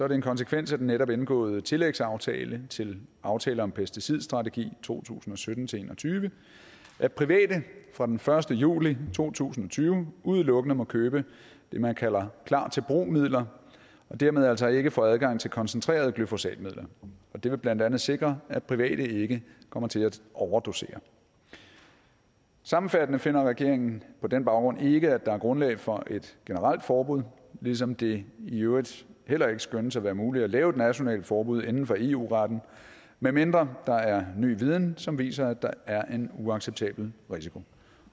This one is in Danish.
det en konsekvens af den netop indgåede tillægsaftale til aftale om pesticidstrategi to tusind og sytten til en og tyve at private fra den første juli to tusind og tyve udelukkende må købe det man kalder klar til brug midler og dermed altså ikke får adgang til koncentrerede glyfosatmidler og det vil blandt andet sikre at private ikke kommer til at overdosere sammenfattende finder regeringen på den baggrund ikke at der er grundlag for et generelt forbud ligesom det i øvrigt heller ikke skønnes at være muligt at lave et nationalt forbud inden for eu retten med mindre der er ny viden som viser at der er en uacceptabel risiko